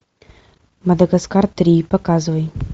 мадагаскар три показывай